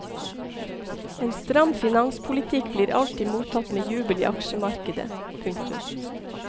En stram finanspolitikk blir alltid mottatt med jubel i aksjemarkedet. punktum